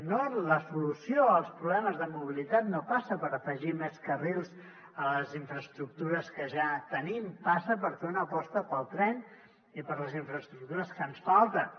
no la solució als problemes de mobilitat no passa per afegir més carrils a les infraestructures que ja tenim passa per fer una aposta pel tren i per les infraestructures que ens falten